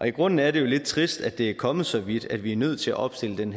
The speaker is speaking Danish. i grunden er det jo lidt trist at det er kommet så vidt at vi er nødt til at opstille den